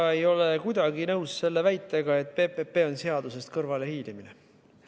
Ma ei ole kuidagi nõus väitega, et PPP on seadusest kõrvale hiilimine.